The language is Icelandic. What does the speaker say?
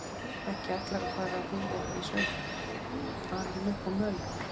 Ekki ætlarðu að fara að búa í sveit, alinn upp á mölinni?